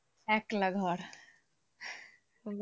একলা ঘর।